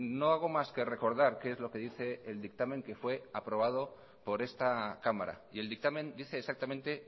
no hago más que recordar qué es lo que dice el dictamen que fue aprobado por esta cámara y el dictamen dice exactamente